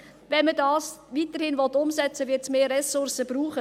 Wenn man dies weiterhin umsetzen will, wird es mehr Ressourcen brauchen.